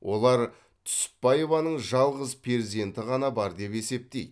олар түсіпбаеваның жалғыз перзенті ғана бар деп есептейді